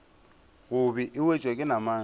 gobe e wetšwa ke namane